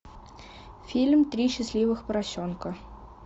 фильм три счастливых поросенка